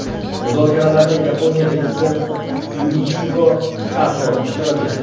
Muzokaralarda Yaponiya elchisi Fumihiko Kato ishtirok etdi.